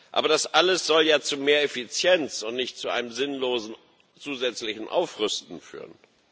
Aber das alles soll ja zu mehr Effizienz und nicht zu einem sinnlosen zusätzlichen Aufrüsten führen.